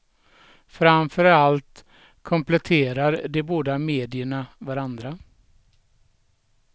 Framför allt kompletterar de båda medierna varandra.